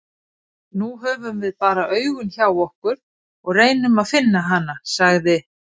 Nú höfum við bara augun hjá okkur og reynum að finna hana, sagði